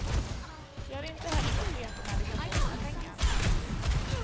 De har inte heller fått veta när de kan få sina pengar.